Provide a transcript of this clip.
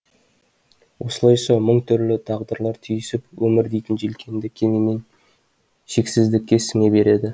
осылайша мың түрлі тағдырлар түйісіп өмір дейтін желкенді кемемен шексіздікке сіңе береді